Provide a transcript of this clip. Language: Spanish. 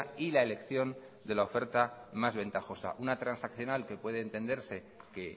y la elección de la oferta más ventajosa una transaccional que puede entenderse que